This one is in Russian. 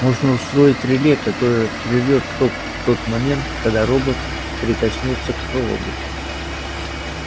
можно устроить реле которое прервёт ток в тот момент когда робот прикоснётся к проводу